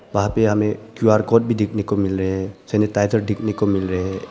पाप्या में Q R code भी देखने को मिल रहे हैं सैनिटाइजर देखने को मिल रहे हैं।